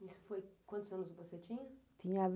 Isso foi... quantos anos você tinha?